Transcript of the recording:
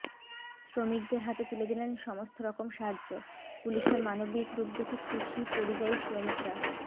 শ্রমিকদের হাতে তুলে দিলেন সমস্ত রকম সাহায্য পুলিশের মানবিক রূপ দেখে খুশি পরিযায়ী শ্রমিকরা